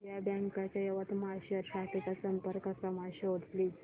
Vijaya Bank च्या यवतमाळ शहर शाखेचा संपर्क क्रमांक शोध प्लीज